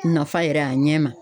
Nafa yɛrɛ a ɲɛ ma.